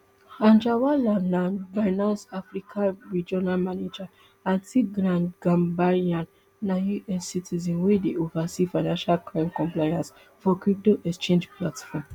anjarwalla na binance africa regional manager and tigran gambaryan na us citizen wey dey oversee financial crime compliance for crypto exchange platform